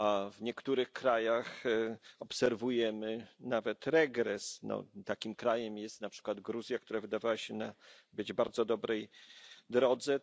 W niektórych krajach obserwujemy nawet regres. Takim krajem jest na przykład Gruzja, która wydawała się być na bardzo dobrej drodze.